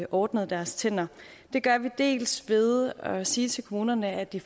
ordnet deres tænder det gør vi dels ved at sige til kommunerne at de